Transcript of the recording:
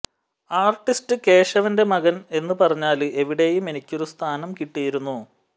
artist കേശവന്റെ മകന് എന്ന് പറഞ്ഞാല് എവിടെയും എനിക്കൊരു സ്ഥാനം കിട്ടിയിരുന്നു